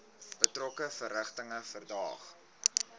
betrokke verrigtinge verdaag